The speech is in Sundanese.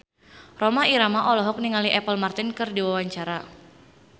Rhoma Irama olohok ningali Apple Martin keur diwawancara